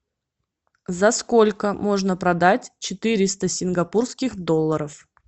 за сколько можно продать четыреста сингапурских долларов